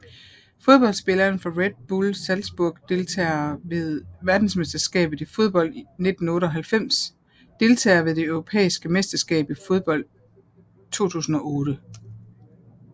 Fodboldspillere fra Red Bull Salzburg Deltagere ved verdensmesterskabet i fodbold 1998 Deltagere ved det europæiske mesterskab i fodbold 2008